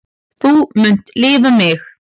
Þú munt lifa mig.